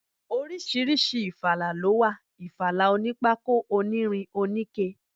Oríṣiríṣi ifala ló wà, ìfala onípákó, onírin, oníke.